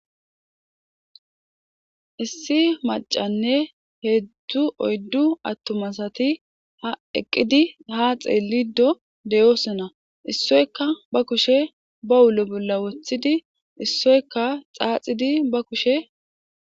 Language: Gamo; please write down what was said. issi macanne heedzdzu oyddu attuma assati ha eqqidi ha xeeliddo deyosona issoykka ba kushe ba ullo bolla woththidi issoyka xaaxiddi ba kushe